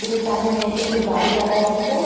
কিসের সামনে এর মধ্যে একটি গাড়ি দেখা যাচ্ছে।